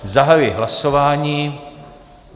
Zahajuji hlasování.